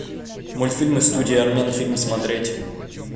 мультфильмы студии арменфильм смотреть